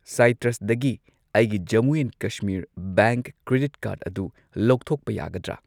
ꯁꯥꯏꯇ꯭ꯔꯁꯗꯒꯤ ꯑꯩꯒꯤ Jammu ꯑꯦꯟꯀꯁꯃꯤꯔ bank credit card ꯑꯗꯨ ꯂꯧꯊꯣꯛꯄ ꯌꯥꯒꯗ꯭ꯔꯥ?